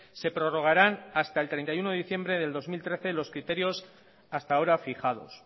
se prorrogarán hasta el treinta y uno de diciembre del dos mil trece los criterios hasta ahora fijados